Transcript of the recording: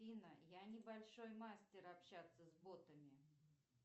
афина я небольшой мастер общаться с ботами